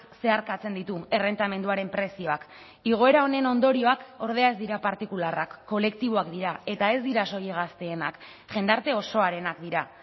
zeharkatzen ditu errentamenduaren prezioak igoera honen ondorioak ordea ez dira partikularrak kolektiboak dira eta ez dira soilik gazteenak jendarte osoarenak dira